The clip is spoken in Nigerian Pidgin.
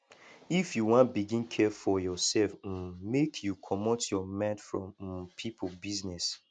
if you wan begin care for yoursef um make you comot your mind from um pipo business